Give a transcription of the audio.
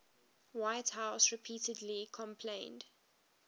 whitehouse repeatedly complained